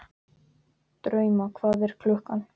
Drauma, hvað er klukkan?